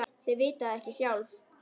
Þau vita það ekki sjálf.